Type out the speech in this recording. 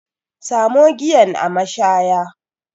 Samo giyan a mashaya